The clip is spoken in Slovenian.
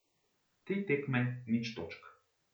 Tri tekme, nič točk.